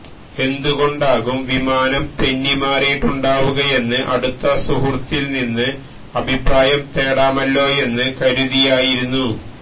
എന്തുകൊണ്ടാകും വിമാനം തെന്നിമാറിയിട്ടുണ്ടാവുകയെന്ന് അടുത്ത സുഹൃത്തില് നിന്ന് അഭിപ്രായം തേടാമല്ലോയെന്ന് കരുതിയായിരുന്നു